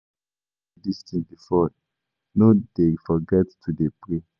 I don tell you dis thing before no dey forget to dey pray